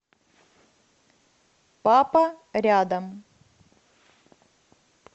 папа рядом